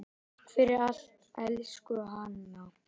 Takk fyrir allt, elsku Hanna.